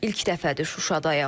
İlk dəfədir Şuşadayam.